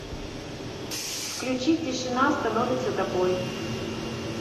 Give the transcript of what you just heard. включи тишина становится тобой